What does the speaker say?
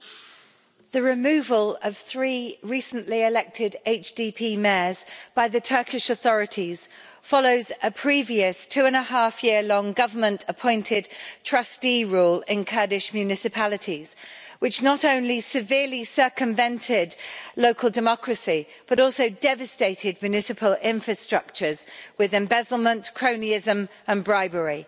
Mr President, the removal of three recently elected HDP mayors by the Turkish authorities follows a previous two and a half year long government appointed trustee rule in Kurdish municipalities, which not only severely circumvented local democracy, but also devastated municipal infrastructures with embezzlement, cronyism and bribery.